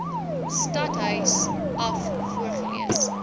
stadhuis af voorgelees